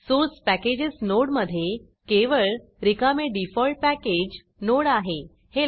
source packages नोडमधे केवळ रिकामे डिफॉल्ट पॅकेज नोड आहे हे लक्षात घ्या